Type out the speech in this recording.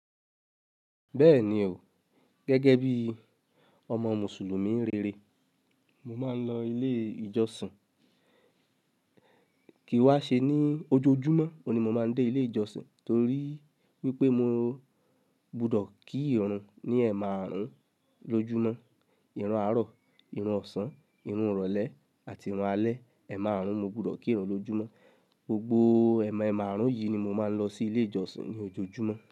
Bẹ́ẹ̀ni o. Gẹ́gẹ́ bíi ọmọ Mùsùlùmí rere, mo máa ń lọ ilé ìjọsìn. Kì í wá ṣe ní ojoojúmọ́ mo oun ni mo máa ń dé ilé ìjọsìn torí wípé mo gbudọ̀ kí irun ní ẹ̀maàrún lójúmọ́. Ìrun àárọ̀, ìrun ọ̀sán, ìrun ọ̀rọ̀lẹ́ àti ìrun alẹ́. Ẹ̀maàrún mo gbọdọ̀ kírun lójúmọ́. Gbogbo ẹ̀maàrún yìí ni mo máa ń lọ sí ilé ìjọsìn ní ojoojúmọ́